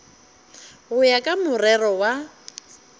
go ya ka morero wa